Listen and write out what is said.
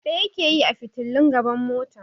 Ɗaya ke yi a fitilun gaban motar.